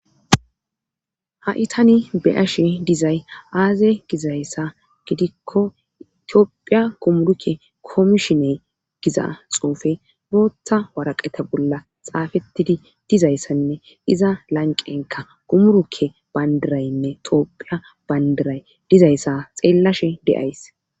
ha7i tani beyashe dizay aaze gizayssa gidikko itiophiya gumurukke koomishiney giza xufe bootta waraqeta bolla xaafettidi dizayssanne iza lanqenka gumurukke bandiraynne toophiya bandiray dizayssa xeellashe deays